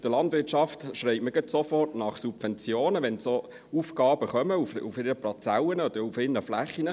Bei der Landwirtschaft schreit man gerade sofort nach Subventionen, wenn solche Aufgaben kommen auf ihren Parzellen oder ihren Flächen.